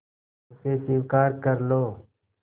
उसे स्वीकार कर लो